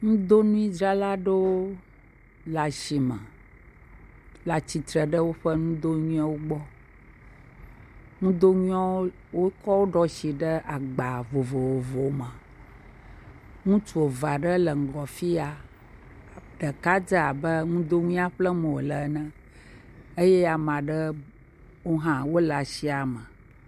Nudonuidzrala aɖewo le asi me le atsitre ɖe woƒe nudonuiwo gbɔ, nudonuiawo, wotsɔ wo ɖo asi ɖe agba vovovowo me, ŋutsu eve aɖewo le ŋgɔ afi ya, ɖeka dze abe nudonuia ƒlem wòle ene eye ame aɖewo hã wole asia me.